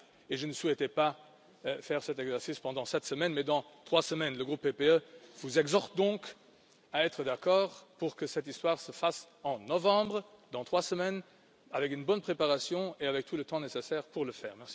Je ne souhaitais pas faire cet exercice cette semaine, mais dans trois semaines. Le groupe PPE vous exhorte donc à être d'accord pour que cela se fasse en novembre, dans trois semaines, avec une bonne préparation et avec tout le temps nécessaire pour le faire.